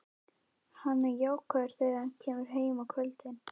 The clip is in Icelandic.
Hann er jákvæður þegar hann kemur heim á kvöldin.